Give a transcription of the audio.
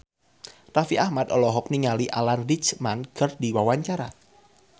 Raffi Ahmad olohok ningali Alan Rickman keur diwawancara